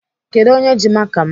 Kedụ onye ji maka m?